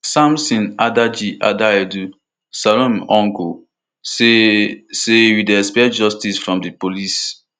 samson adaji adaidu salome uncle say say we dey expect justice from di police